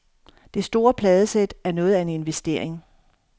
Det store pladesæt er noget af en investering.